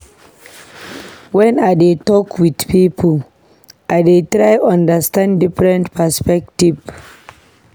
Wen I dey tok wit pipo, I dey try understand different perspective.